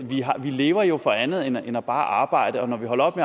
vi lever jo for andet end bare at arbejde og når vi holder op